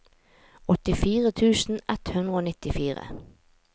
åttifire tusen ett hundre og nittifire